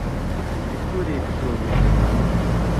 викторией петровной фоминой